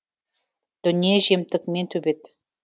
дүние жемтік мен төбет